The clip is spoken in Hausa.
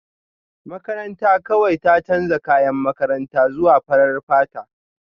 Makaranta kawai ta canza kayan makaranta zuwa farar fata